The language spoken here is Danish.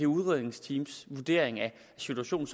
udredningsteamets vurdering af situationen